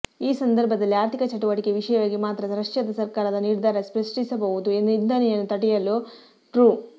ಈ ಸಂದರ್ಭದಲ್ಲಿ ಆರ್ಥಿಕ ಚಟುವಟಿಕೆ ವಿಷಯವಾಗಿ ಮಾತ್ರ ರಷ್ಯಾದ ಸರ್ಕಾರದ ನಿರ್ಧಾರ ಸೃಷ್ಟಿಸಬಹುದು ನಿಂದನೆಯನ್ನು ತಡೆಯಲು ಟ್ರೂ